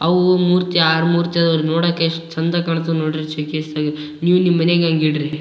ಅವು ಮೂರ್ತಿ ಆರ್ ಮೂರ್ತಿ ಅದಾವ್ ಇಲ್ಲಿ ನೋಡಕೆ ಎಷ್ಟ್ ಚೆಂದ ಕಾಂತಾವ್ ನೋಡಿ ಶೋ ಕೇಸ್ ದಗೆ ನೀವ್ ನಿಮ್ ಮನೆ ಆಗ್ ಹಿಂಗ್ ಇಡ್ರಿ.